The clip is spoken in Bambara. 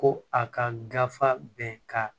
Ko a ka gafe bɛ ka